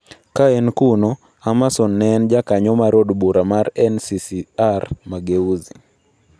Ka en kuno, Amason ne en jakanyo mar od bura mar NCCR-Mageuzi.